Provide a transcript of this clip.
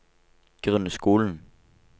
grunnskolen